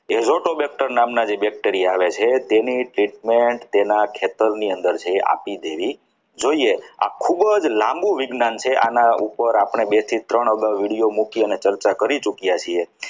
એ zootobacter નામના જે bacteria આવે છે તેની treatment તેના કેતન ની અંદર છે જે આપી દેવી જોઈએ આ ખૂબ જ લાંબું વિજ્ઞાન છે આના ઉપર આપણે બે થી ત્રણ અગાઉ video મૂકીને ચર્ચા કરી ચૂક્યા છીએ.